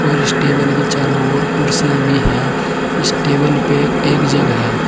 और इस टेबल की चारो ओर कुर्सियां भी है इस टेबल पे एक जग है।